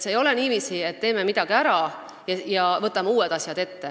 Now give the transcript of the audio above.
Ei ole niiviisi, et teeme midagi ära ja võtame uued asjad ette.